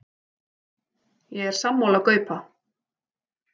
Ég er sammála Gaupa.